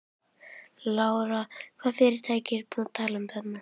Lára: Hvaða fyrirtæki ertu að tala um þarna?